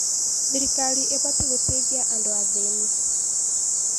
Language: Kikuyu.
Thirikari ĩbatiĩ gũteithia andũ athĩni.